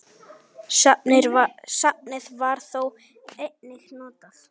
Safnið var þó einnig notað.